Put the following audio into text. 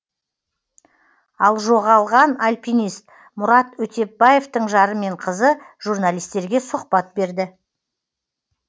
ал жоғалған альпинист мұрат өтепбаевтың жары мен қызы журналистерге сұхбат берді